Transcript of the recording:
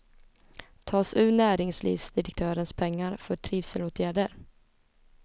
Tas ur näringslivsdirektörens pengar för trivselåtgärder.